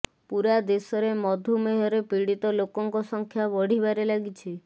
ପୂରା ଦେଶରେ ମଧୁମେହରେ ପିଡିତ ଲୋକଙ୍କ ସଂଖ୍ୟା ବଢ଼ିବାରେ ଲାଗିଛି